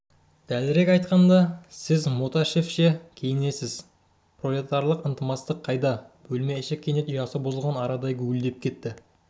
дәлірек айтқанда сіз мотяшевше киінесіз пролетарлық ынтымақ қайда бөлме іші кенет ұясы бұзылған арадай гуілдеп кетті